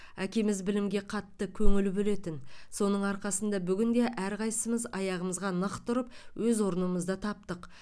әкеміз білімге қатты көңіл бөлетін соның арқасында бүгінде әрқайсымыз аяғымызға нық тұрып өз орнымызды таптық